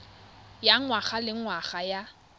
ya ngwaga le ngwaga ya